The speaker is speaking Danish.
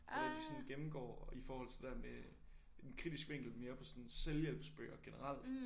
Hvor at de sådan gennemgår i forhold til det der med en kritisk vinkel mere på sådan selvhjælpsbøger generelt